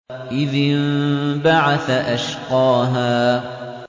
إِذِ انبَعَثَ أَشْقَاهَا